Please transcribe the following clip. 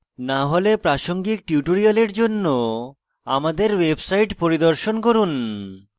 না হলে প্রাসঙ্গিক tutorial জন্য আমাদের website পরিদর্শন করুন